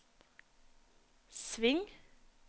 sving